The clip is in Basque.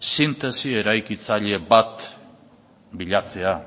sintesi eraikitzaile bat bilatzea